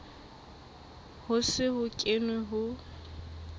ho se ho kenwe ho